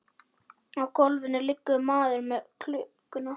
Á gólfinu liggur maðurinn með klukkuna.